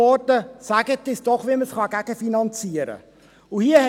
Sagen Sie uns doch, wie man es gegenfinanzieren kann.